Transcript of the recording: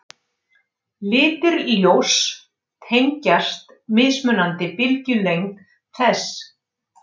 Litir ljóss tengjast mismunandi bylgjulengd þess.